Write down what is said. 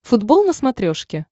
футбол на смотрешке